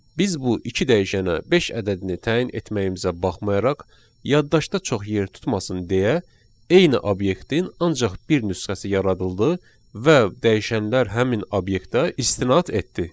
Biz bu iki dəyişənə beş ədədini təyin etməyimizə baxmayaraq, yaddaşda çox yer tutmasın deyə eyni obyektin ancaq bir nüsxəsi yaradıldı və dəyişənlər həmin obyektə istinad etdi.